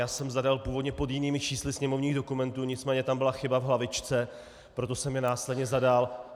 Já jsem zadal původně pod jinými čísly sněmovních dokumentů, nicméně tam byla chyba v hlavičce, proto jsem je následně zadal.